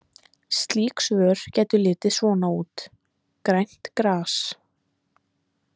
Slík svör gætu litið svona út: Grænt gras.